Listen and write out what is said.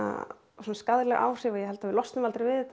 svona skaðleg áhrif og ég held að við losnum aldrei við þetta